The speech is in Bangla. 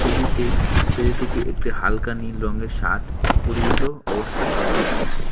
ছবিতে ছেলেটিকে একটি হালকা নীল রঙের শার্ট পরিহিত অবস্থায় দেখা যাচ্ছে।